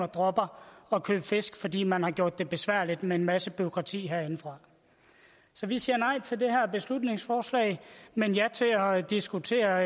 dropper at købe fisk fordi man har gjort det besværligt med en masse bureaukrati herindefra så vi siger nej til det her beslutningsforslag men ja til at diskutere